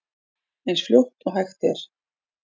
Eins fljótt og hægt er.